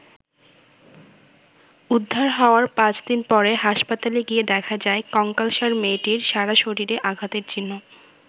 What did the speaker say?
উদ্ধার হওয়ার পাঁচদিন পরে হাসপাতালে গিয়ে দেখা যায় কঙ্কালসার মেয়েটির সারা শরীরে আঘাতের চিহ্ন।